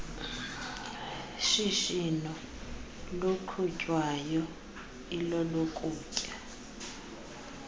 shishino luqhutywayo ilolokutya